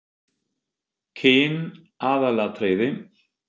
Kyn aðalatriði?